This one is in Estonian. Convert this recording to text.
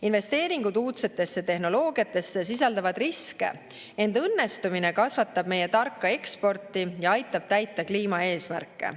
Investeeringud uudsetesse tehnoloogiatesse sisaldavad riske, ent õnnestumine kasvatab meie tarka eksporti ja aitab täita kliimaeesmärke.